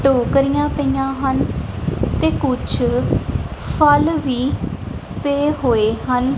ਟੋਕਰੀਆਂ ਪਈਆਂ ਹਨ ਤੇ ਕੁੱਛ ਫਲ ਵੀ ਪਏ ਹੋਏ ਹਨ।